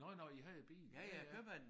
Nåh nåh I havde bil ja ja